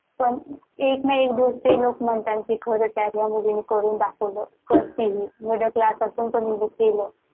पण एक ना एक दिवस ते लोक म्हणतां कि खरंच आहे म्हणून करून दाखवलं करते हि middle class असून तिन केलं